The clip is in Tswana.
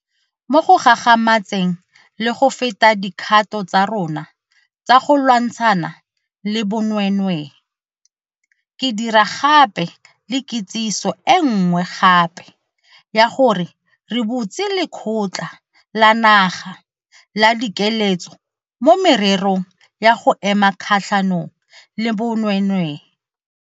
Mo go gagamatseng le go feta dikgato tsa rona tsa go lwantshana le bonweenwee, ke dira gape le kitsiso e nngwe gape ya gore re butse Lekgotla la Naga la Dikeletso mo Mererong ya go Ema Kgatlhanong le Bonweenwee.